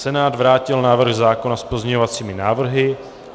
Senát vrátil návrh zákona s pozměňovacími návrhy.